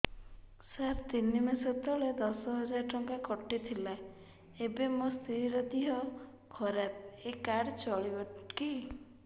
ସାର ତିନି ମାସ ତଳେ ଦଶ ହଜାର ଟଙ୍କା କଟି ଥିଲା ଏବେ ମୋ ସ୍ତ୍ରୀ ର ଦିହ ଖରାପ ଏ କାର୍ଡ ଚଳିବକି